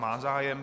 Má zájem.